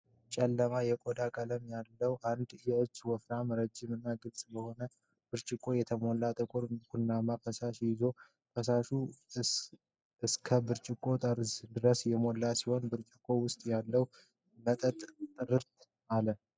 ጨለማ የቆዳ ቀለም ያለው አንድ እጅ ወፍራም፣ ረዥም እና ግልጽ በሆነ ብርጭቆ የተሞላ ጥቁር ቡናማ ፈሳሽ ይዟል። ፈሳሹ እስከ ብርጭቆው ጠርዝ ድረስ የሞላ ሲሆን፣ በብርጭቆው ውስጥ ያለው መጠጥ ጥርት አለ።